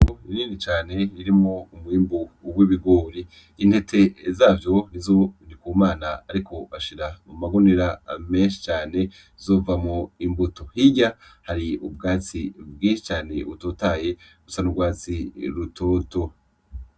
Itongo rinini cane ririmwo umwimbu w'ibigori, intete zavyo nizo Ndikumana ariko ashira mu magunira menshi cane zizovamwo imbuto, hirya hari ubwatsi bwinshi cane butotahaye busa n'ugwatsi rutoto.